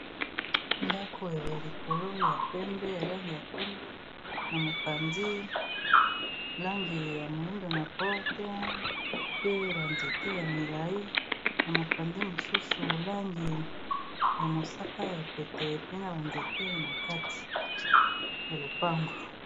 Ndako ya likolo ya pembe ya langi ya pembe. Na mopanzi, langi ya moindo. Na porte pe, ba nzete ya milai. Na mopanzi mosusu, langi ya mosaka ya pete. Pe na ba nzete na kati ya lopango.